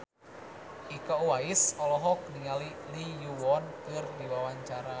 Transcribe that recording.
Iko Uwais olohok ningali Lee Yo Won keur diwawancara